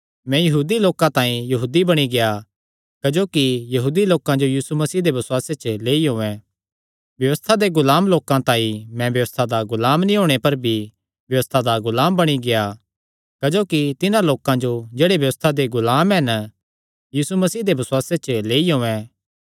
मैं यहूदी लोकां तांई यहूदी बणी गेआ क्जोकि यहूदी लोकां जो यीशु मसीह दे बसुआसे च लेई औयें व्यबस्था दे गुलाम लोकां तांई मैं व्यबस्था दा गुलाम नीं होणे पर भी व्यबस्था दा गुलाम बणी गेआ क्जोकि तिन्हां लोकां जो जेह्ड़े व्यबस्था दे गुलाम हन यीशु मसीह दे बसुआसे च लेई औयें